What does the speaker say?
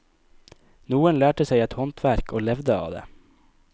Noen lærte seg et håndverk og levde av det.